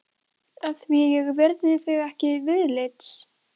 Að því að ég virði þig ekki viðlits?